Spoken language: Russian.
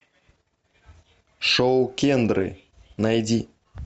шоу кендры найди